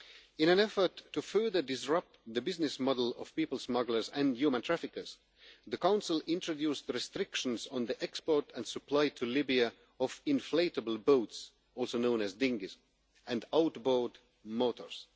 In an effort to further disrupt the business model of people smugglers and human traffickers, the Council introduced restrictions on the export and supply to Libya of inflatable boats, also known as dinghies, and outboard motors.